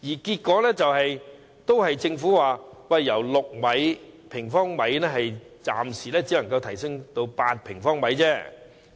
結果，政府暫時表示只能由6平方米提升至8平方米。